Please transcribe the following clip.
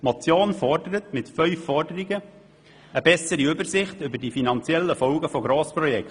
Diese Motion verlangt mittels fünf Forderungen eine bessere Übersicht über die finanziellen Folgen von Grossprojekten.